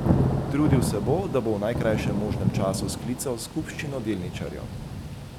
Trudil se bo, da bo v najkrajšem možnem času sklical skupščino delničarjev.